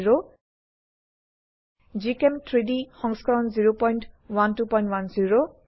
gchem3ডি সংস্কৰণ 01210